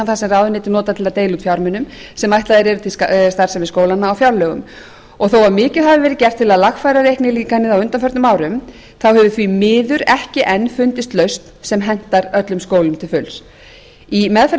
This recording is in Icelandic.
þar sem ráðuneytið notar til að deila út fjármunum sem ætlaðir eru til starfsemi skólanna á fjárlögum og þó mikið hafi verið gert til að lagfæra reiknilíkanið á undanförnum árum þá hefur því miður ekki enn fundist lausn sem hentar öllum skólum til fulls í meðferð